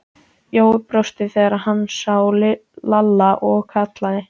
Jói brosti þegar hann sá Lalla og kallaði